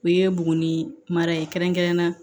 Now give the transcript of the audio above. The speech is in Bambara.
O ye buguni mara ye kɛrɛnkɛrɛnnenya